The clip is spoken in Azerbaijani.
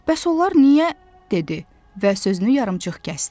Bəs onlar niyə dedi və sözünü yarımçıq kəsdi.